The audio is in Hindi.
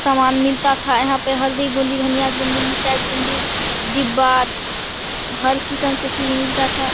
सामान मिलता था यहाँ पर हल्दी गुंडी धनिया गुंडी मिरचाई गुंडी डिब्बा हर किसम के चीज मिलता था।